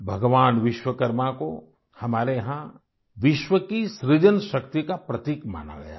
भगवान विश्वकर्मा को हमारे यहाँ विश्व की सृजन शक्ति का प्रतीक माना गया है